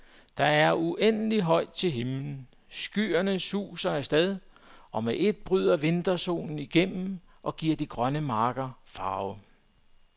Der er uendeligt højt til himmelen, skyerne suser af sted, og med ét bryder vintersolen igennem og giver de grønne marker farve.